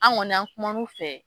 An kɔni an kumanu fɛ.